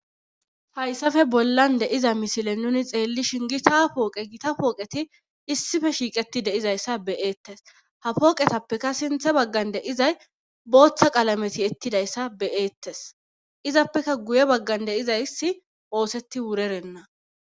hayssafe bollan de7iza misile nuni xeellishin gita pooqe gita pooqeti issife shiiqeti deizayssa beyeettes ha pooqetappeka sinthe baggan de izay booththa qalameti ettidayssa beyeettes izappeka guye baggan de izaysi oosetti wurerenna